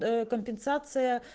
ээ компенсация